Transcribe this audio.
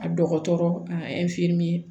A dɔgɔtɔrɔ a